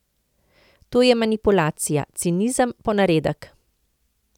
To je manipulacija, cinizem, ponaredek!